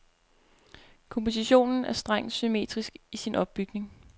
Kompositionen er strengt symmetrisk i sin opbygning.